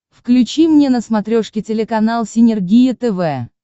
включи мне на смотрешке телеканал синергия тв